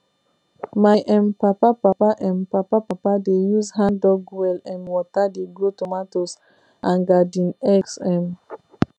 my um papa papa um papa papa dey use handdug well um water dey grow tomatoes and garden eggs um